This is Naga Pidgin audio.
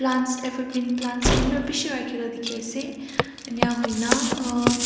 plants evergreen plants khan bi bishi rakhina dikhiase enahuina uh